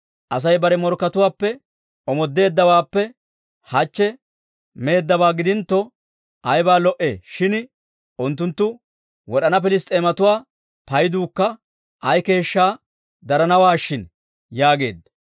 Asay bare morkkatuwaappe omoodeeddawaappe hachche meeddabaa gidintto, ayba lo"ee shin; unttunttu wod'ana Piliss's'eematuwaa payduukka ay keeshshaa daranawaa shin» yaageedda.